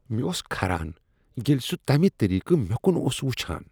مےٚ اوس کھران ییٚلہ سہ تمہ طریٖقہٕ مےٚ کن اوس وٕچھان۔